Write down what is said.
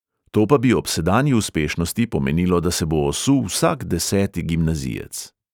To pa bi ob sedanji uspešnosti pomenilo, da se bo osul vsak deseti gimnazijec.